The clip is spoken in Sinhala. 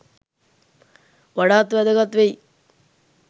වඩාත් වැදගත් වෙයි.